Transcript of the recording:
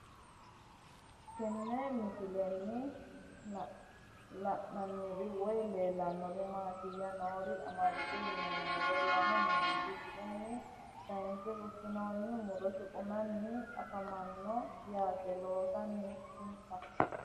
Tenne misilenni la'nanniri woy leellannori maattiya noori amadde yinummoro lame meentti diruunni kaayinse fushshinnoonni muro shuqunnanni afammanno yatte loosanni insa